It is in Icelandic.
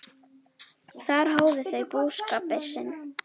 Þar hófu þau búskap sinn.